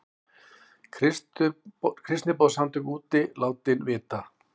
Kristniboðssamtök úti látin vita